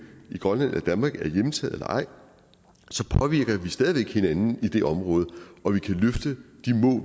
i grønland eller danmark er hjemtaget eller ej så påvirker vi stadig væk hinanden i det område og vi kan løfte